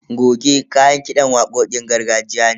Goge kayan kiɗan waƙoƙin gargajiya ne.